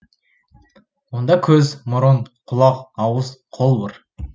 онда көз мұрын құлақ ауыз қол бар